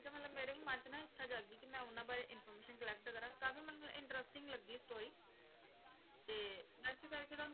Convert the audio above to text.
ਤੇ ਮਤਲਬ ਮੇਰੇ ਵੀ ਮਨ 'ਚ ਨਾ ਇੱਛਾ ਜਾਗੀ ਕਿ ਮੈਂ ਉਹਨਾਂ ਬਾਰੇ information collect ਕਰਾਂ, ਕਾਫ਼ੀ ਮਤਲਬ interesting ਲੱਗੀ story ਤੇ ਇਸ ਕਰਕੇ ਤੁਹਾਨੂੰ